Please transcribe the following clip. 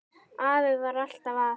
Afi var alltaf að.